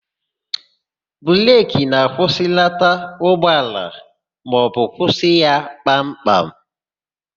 Breki na-akwụsịlata ụgbọala maọbụ kwụsị ya kpam kpam.